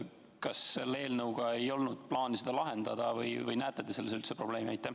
Kas selle eelnõuga ei olnud plaanis seda lahendada või kas te näete selles üldse probleemi?